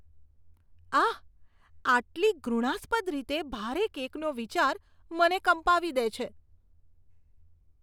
આહ, આટલી ઘૃણાસ્પદ રીતે ભારે કેકનો વિચાર મને કંપાવી દે છે.